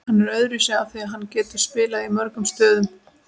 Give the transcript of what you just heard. Hann er öðruvísi af því að hann getur spilað í mörgum stöðum.